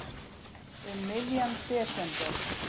Um miðjan desember.